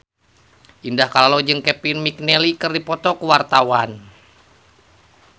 Indah Kalalo jeung Kevin McNally keur dipoto ku wartawan